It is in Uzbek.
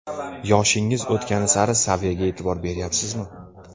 Yoshingiz o‘tgani sari saviyaga e’tibor beryapsizmi?